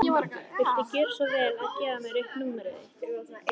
Viltu gjöra svo vel að gefa mér upp númerið þitt?